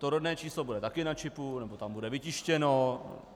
To rodné číslo bude taky na čipu, nebo tam bude vytištěno?